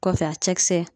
Kɔfɛ a cɛkisɛ